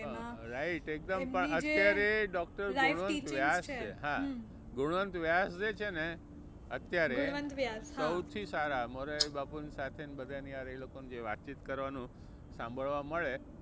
right એકદમ પણ અત્યારે ડોક્ટર ગુણવંત વ્યાસ છે હા ગુણવંત વ્યાસ જે છે ને અત્યારે સૌથી સારા મોરારી બાપુની સાથે ને બધા ની હારે એ લોકો ને જે વાતચીત કરવાનું સાંભળવા મળે